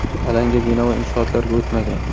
Alanga bino va inshootlarga o‘tmagan.